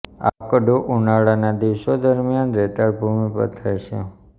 આકડો ઉનાળાના દિવસો દરમિયાન રેતાળ ભૂમિ પર થાય છે